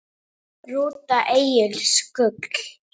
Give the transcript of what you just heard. Rúta Egils Gull